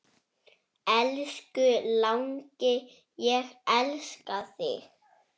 Elsku langi, ég elska þig.